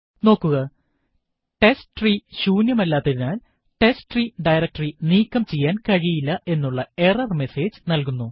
നോക്കുക ടെസ്റ്റ്രീ ശൂന്യമല്ലാത്തതിനാൽ testtree directory നീക്കം ചെയ്യാൻ കഴിയില്ല എന്നുള്ള എറർ മെസേജ് നല്കുന്നു